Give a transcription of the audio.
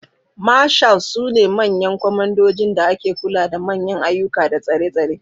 Marshals sune manyan kwamandojin da ke kula da manyan ayyuka da tsare-tsare.